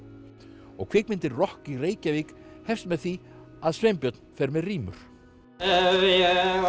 og kvikmyndin rokk í Reykjavík hefst með því að Sveinbjörn fer með rímur ef